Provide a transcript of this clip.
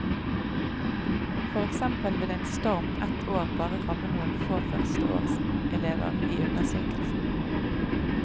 For eksempel vil en storm ett år bare ramme noen få førsteårselever i undersøkelsen.